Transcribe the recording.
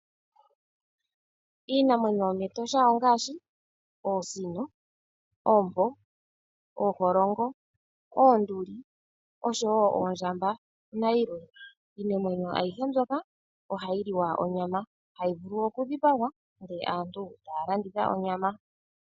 Iinamwenyo yomEtosha ongaashi Oosino, Oompo, Ooholongo, Oonduli oshowo Oondjamba nayilwe, iinamwenyo ayihe mbyoka oha yi liwa onyama, hayi vulu okudhipagwa ndele aantu ta ya landitha onyama.